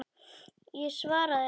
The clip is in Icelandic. Ég svaraði honum ekki.